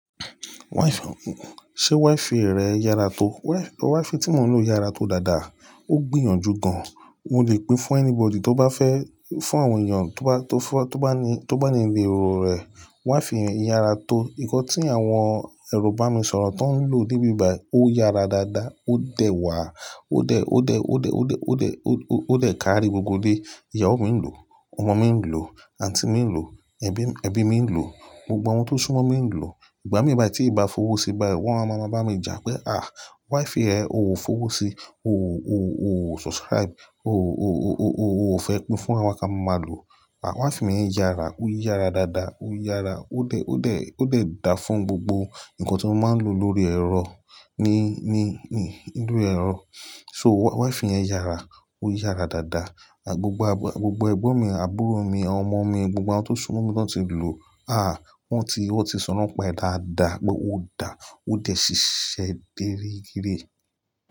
Ṣé wifi rẹ yára tó? Wifi tí mò ń lò yára tó dáadáa, ó gbìyànjú gan. Mo lè pín fún anybody tó bá fẹ́, fún àwọn ènìyàn tó bá ní ìlérò rẹ̀. Wifi yẹn yára tó. Nǹkan tí àwọn ẹro bá mi sọ̀rọ̀ tó ń lò níbí bayi. Ó yára dáadáa, ó dẹ̀ wà, ó dẹ̀ kárí gbogbo dé. Ìyàwó mi ń lò, ọmọ mi ń lò, aunty mi ń lò, ẹbí mi ń lò, gbogbo àwọn tó súnmọ́ mi ń lò. Ìgbà mì, tí ìbá fowó sí, wọ́n máa bá mi jà pé, "à, wifi rẹ o ò fowó sí, ò subscribe, ò fẹ́ pín fún wa ká máa lò." Wifi mi yára, ó yára dáadáa, ó yára, ó dẹ̀ dáa fún gbogbo ǹkan tí mo máa ń lò lórí ẹ̀rọ, ní inú ẹ̀rọ. So wifi yẹn yára, ó yára dáadáa. Gbogbo ẹgbọ́n mi, àbúrò mi, ọmọ mi, gbogbo àwọn tó súnmọ́ mi tó ti lò, wọ́n ti sọ̀rọ̀ pé dáadáa pé ó dáa, ó dẹ̀ ṣiṣẹ́ déré gidi.